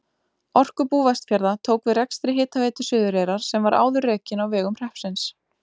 Orkubú Vestfjarða tók við rekstri Hitaveitu Suðureyrar sem var áður rekin á vegum hreppsins.